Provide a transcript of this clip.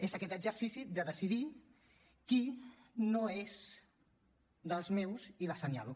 és aquest exercici de decidir qui no és dels meus i l’assenyalo